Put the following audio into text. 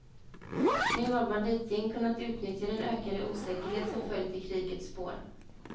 Nu har banditgäng kunnat utnyttja den ökande osäkerhet som följt i krigets spår.